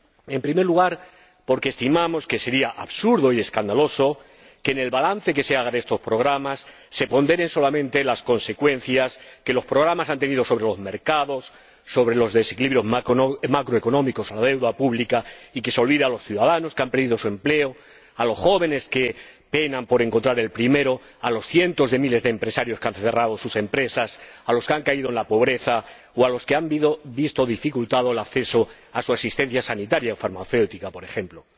En primer lugar, porque estimamos que sería absurdo y escandaloso que, en el balance que se haga de estos programas, se ponderen solamente las consecuencias que los programas han tenido sobre los mercados, sobre los desequilibrios macroeconómicos o la deuda pública y se olvide a los ciudadanos que han perdido su empleo, a los jóvenes que penan por encontrar el primero, a los cientos de miles de empresarios que han cerrado sus empresas, a los que han caído en la pobreza o a los que han visto dificultado el acceso a su asistencia sanitaria o farmacéutica, por ejemplo.